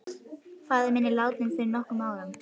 Faðir minn er látinn fyrir nokkrum árum.